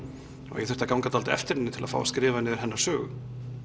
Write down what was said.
og ég þurfti að ganga dálítið á eftir henni til að fá að skrifa niður hennar sögu